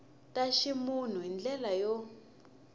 ta ximunhu hi ndlela yo